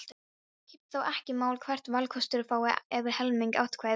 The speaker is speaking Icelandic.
Skiptir þá ekki máli hvort valkostur fái yfir helming atkvæða.